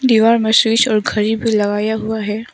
दीवार में स्विच और घड़ी भी लगाया हुआ है।